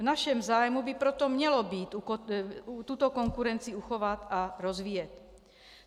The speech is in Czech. V našem zájmu by proto mělo být tuto konkurenci uchovat a rozvíjet.